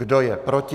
Kdo je proti?